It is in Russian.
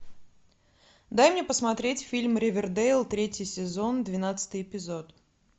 дай мне посмотреть фильм ривердейл третий сезон двенадцатый эпизод